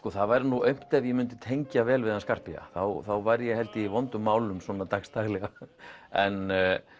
það væri nú aumt ef ég myndi tengja vel við hann Scarpia þá væri ég held ég í vondum málum svona dags daglega en